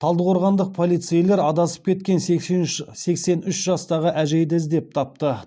талдықорғандық полицейлер адасып кеткен сексен үш жастағы әжейді іздеп тапты